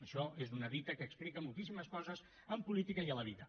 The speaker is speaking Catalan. això és una dita que explica moltíssimes coses en política i a la vida